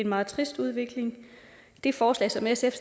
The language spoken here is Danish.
meget trist udvikling det forslag som sf